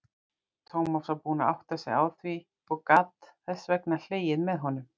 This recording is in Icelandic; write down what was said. Tómas var búinn að átta sig á því og gat þess vegna hlegið með honum.